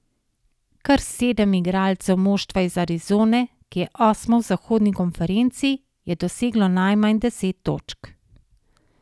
Kar sedem igralcev moštva iz Arizone, ki je osmo v zahodni konferenci, je doseglo najmanj deset točk.